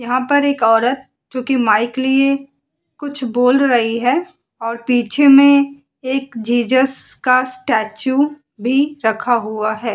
यहाँ पर एक औरत जो कि माइक लिए कुछ बोल रही है और पीछे में एक जीसस का स्टेचू भी रखा हुआ है।